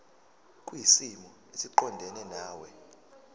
kwisimo esiqondena nawe